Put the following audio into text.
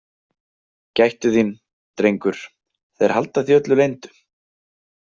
Gættu þín, drengur, þeir halda því öllu leyndu.